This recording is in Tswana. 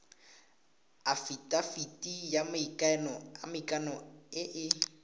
afitafiti ya maikano e e